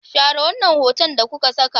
Share wannan hoton da kuka saka!